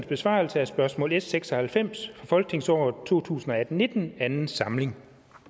besvarelse af spørgsmål s seks og halvfems fra folketingsåret to tusind og atten til nitten anden samling